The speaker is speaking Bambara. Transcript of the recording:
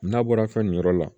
N'a bɔra fɛn nin yɔrɔ la